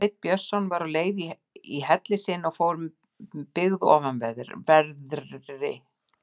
Sveinn Björnsson var á leið í helli sinn og fór með byggð ofanverðri.